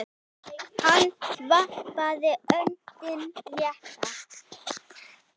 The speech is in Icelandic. Hann varpaði öndinni léttar.